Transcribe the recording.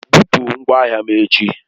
Bupụ ngwa ahịa m echi!